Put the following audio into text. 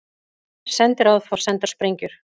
Sendiráð fá sendar sprengjur